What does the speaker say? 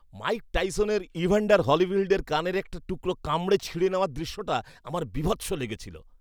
Mic টাইসনের Evander হোলিফিল্ডের কানের একটা টুকরো কামড়ে ছিঁড়ে নেওয়ার দৃশ্যটা আমার বীভৎস লেগেছিল।